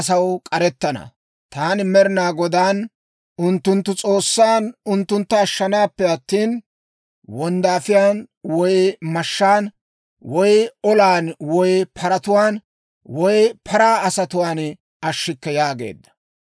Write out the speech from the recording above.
Shin taani Yihudaa asaw k'arettana; taani Med'inaa Godaan, unttunttu S'oossan, unttuntta ashshanaappe attina, wonddaafiyaan woy mashshaan woy olan woy paratuwaan woy paraa asatuwaan ashshikke» yaageedda.